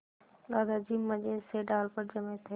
दादाजी मज़े से डाल पर जमे थे